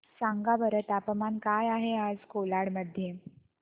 सांगा बरं तापमान काय आहे आज कोलाड मध्ये